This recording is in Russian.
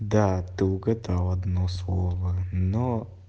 да ты угадал одно слово но